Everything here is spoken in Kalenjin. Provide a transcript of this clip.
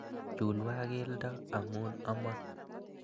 Chulwa keldo amu amo